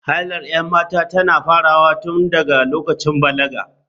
Hailar 'yan mata tana farawa ne tun daga lokacin balaga.